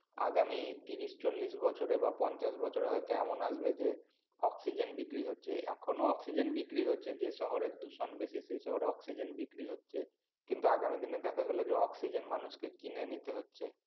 আগামী ত্রিশ চল্লিশ বছরে বা পঞ্চাশ বছরে হয়তো এমন আসবে যে অক্সিজেন বিক্রি হচ্ছে এখনও অক্সিজেন বিক্রি হচ্ছে যে শহরে যে শহরে দূষণ বেশি সে শহরে অক্সিজেন বিক্রি হচ্ছে কিনবা আগামী দিনে দেখা গেলো যে অক্সিজেন মানুষকে কিনে নিতে হচ্ছে